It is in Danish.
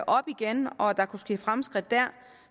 op igen og at der kunne ske fremskridt der